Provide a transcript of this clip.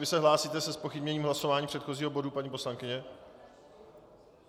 Vy se hlásíte se zpochybněním hlasování předchozího bodu, paní poslankyně?